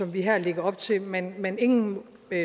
vi her lægger op til men men ingen